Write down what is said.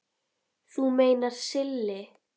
Þú meinar Silli?